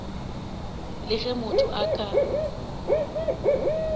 le ge motho a ka